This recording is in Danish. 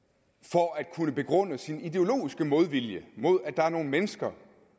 for at kunne begrunde sin ideologiske modvilje mod at der er nogle mennesker